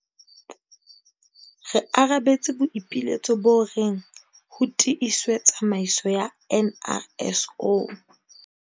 Re arabetse boipiletso bo reng ho tiiswe tsamaiso ya NRSO.